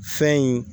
Fɛn in